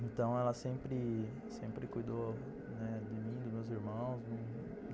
Então ela sempre... sempre cuidou de mim, dos meus irmãos.